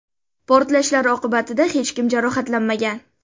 Portlashlar oqibatida hech kim jarohatlanmagan.